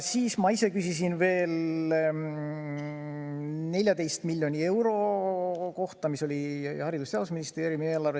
Ma küsisin veel 14 miljoni euro kohta, mis oli Haridus- ja Teadusministeeriumi eelarves.